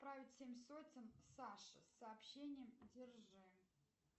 отправить семь сотен саше с сообщением держи